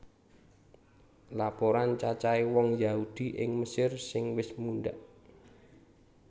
Laporan cacahé wong Yahudi ing Mesir sing wis mundhak